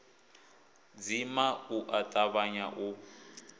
dzima u a tavhanya u